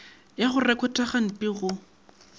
ya go rekhota gantpi go